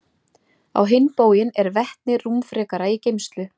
Á hinn bóginn er vetni rúmfrekara í geymslu.